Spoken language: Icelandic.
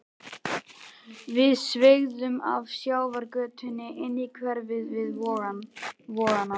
Við sveigðum af sjávargötunni inn í hverfið við Vogana.